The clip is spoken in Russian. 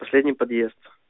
последний подъезд